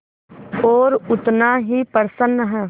और उतना ही प्रसन्न है